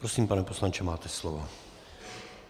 Prosím, pane poslanče, máte slovo.